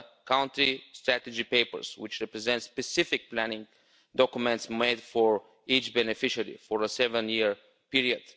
country strategy papers which represent specific planning documents made for each beneficiary for a seven year period.